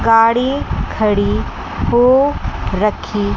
गाड़ी खड़ी हो रखी--